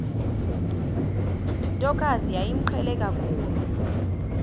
ntokazi yayimqhele kakhulu